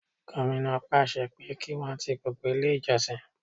Gómìnà pàṣẹ pé kí Wọ́n ti gbogbo ilé ìjọsìn.